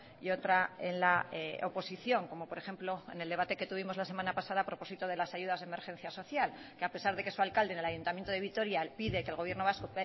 y otra en la oposición como por ejemplo en el debate que tuvimos la semana pasada a propósito de las ayudas de emergencia social de que a pesar de su alcalde en el ayuntamiento de vitoria pide que el gobierno vasco